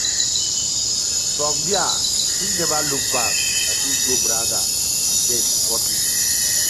from dia im neva look back as im go braga and den sporting.